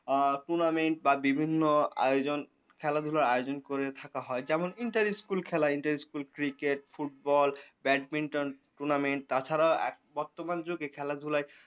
আ tournament বা বিভিন্ন আয়োজন খেলাধুলা আয়োজন করে থাকা হয় যেমন interesting স্কুল খেলা interestingschool, cricket, badminton, tournament তাছাড়াও আ বর্তমান যুগে খেলা ধুলায়